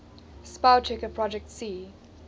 spellchecker projet c